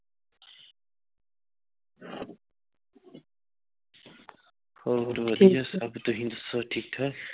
ਹੋਰ ਵਧੀਆ ਸਬ ਤੁਸੀਂ ਦਸੋ ਠੀਕ ਠਾਕ?